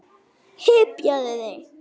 Hypjaðu þig!